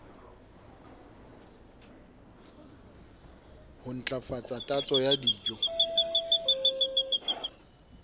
ho ntlafatsa tatso ya dijo